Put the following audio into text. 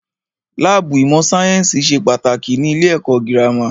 Láàbù ìmọ̀ sáyẹ́nsì ṣe pàtàkì ní ilé ẹ̀kọ́ gírámà.